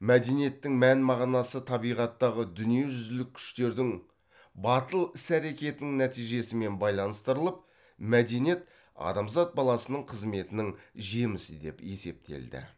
мәдениеттің мән мағынасы табиғаттағы дүниежүзілік күштердің батыл іс әрекетінің нәтижесімен байланыстырылып мәдениет адамзат баласының қызметінің жемісі деп есептелді